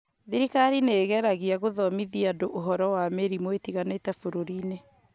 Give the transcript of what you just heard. thirikari nĩĩgeragia gũthomithia andũ ũhoro wa mĩrimũ ĩtiganĩte bũrũriinĩ